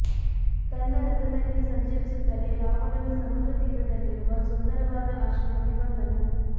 ತನ್ನ ರಥದಲ್ಲಿ ಸಂಚರಿಸುತ್ತಲೇ ರಾವಣನು ಸಮುದ್ರ ತೀರದಲ್ಲಿರುವ ಸುಂದರವಾದ ಆಶ್ರಮಕ್ಕೆ ಬಂದನು